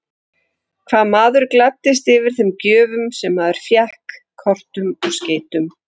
Hvað maður gladdist yfir þeim gjöfum sem maður fékk, kortum og skeytum!